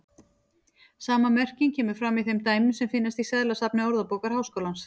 Sama merking kemur fram í þeim dæmum sem finnast í seðlasafni Orðabókar Háskólans.